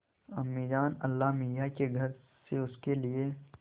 अम्मीजान अल्लाहमियाँ के घर से उसके लिए